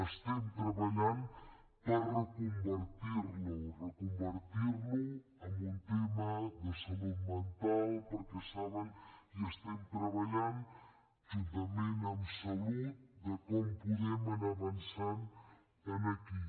estem treballant per reconvertir lo reconvertir lo en un tema de salut mental perquè saben que estem treballant juntament amb salut en com podem anar avançant aquí